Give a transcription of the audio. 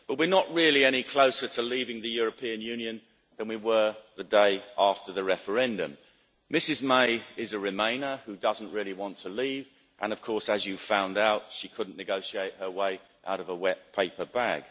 But we're not really any closer to leaving the European Union than we were the day after the referendum. Mrs May is a remainer who doesn't really want to leave and, of course, as you found out, she couldn't negotiate her way out of a wet paper bag.